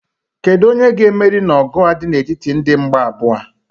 Kedu onye ga-emeri n'ọgụ a dị n'etiti ndị mgba abụọ a?